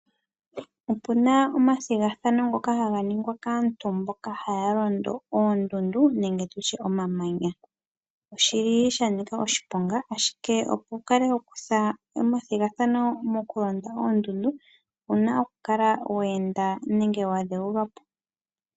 Opuna omathigathano ngoka haga ningwa kaantu mboka haya londo oondundu nenge omamanya. Oshili sha nika oshiponga opo wukale wa kutha ethigathano mokulonda oondundu, onkene owuna okukala wa dhewulwa.